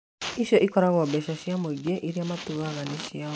Icio ikoragwo mbeca cia mũingĩ iria matuaga nĩciao